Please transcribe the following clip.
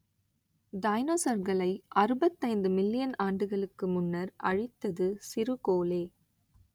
டைனோசர்களை அறுபத்தைந்து மில்லியன் ஆண்டுகளுக்கு முன்னர் அழித்தது சிறுகோளே